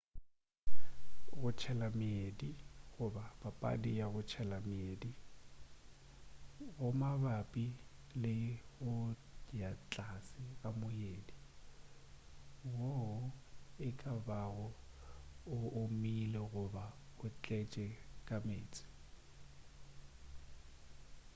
go tshela meedi goba: papadi ya go tshela meedi go mabapi le go ya tlase ga moedi woo ekabago o omile goba o tletše ka meetse